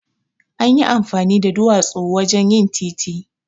Anyi amfani da duwatsu wajen yin titi.